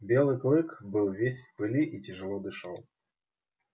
белый клык был весь в пыли и тяжело дышал